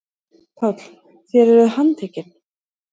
PÁLL: Þér eruð handtekin.